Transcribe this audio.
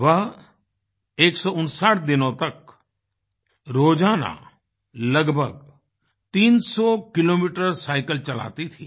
वह 159 दिनों तक रोजाना लगभग 300 किलोमीटर साइकल चलाती थी